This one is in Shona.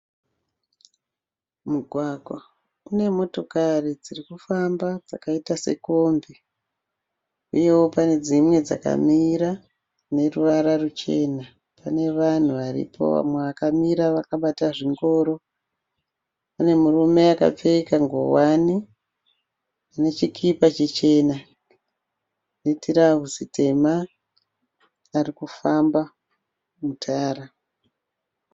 Mugwagwa une motokari dziri kufamba dzakaita sekombi uyewo pane dzimwe dzakamiri dzineruvara ruchena , panevanhu varipo vamwe vakamira vakabata zvingoro .Pane murume akapfeka nguwani nechikipa chichena netirauzi tema ari kufamba mutara.